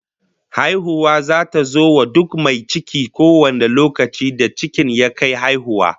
Haihuwa zata zo wa duk mai ciki kowane lokaci da cikin ya kai haihuwa